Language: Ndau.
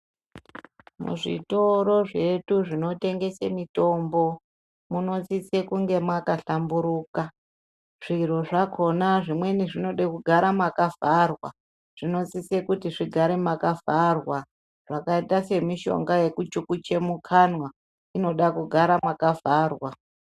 Muzvitoro zvedu zvinotengese mitombo munosise kunge makahlamburuka, zviro zvakhona zvimweni zvinoda kugara makavharwa ,zvinosise kuti zvirambe zvakavharwa zvakaita semishonga yekuchikucha mukanwa inoda kugara mwakavharwa.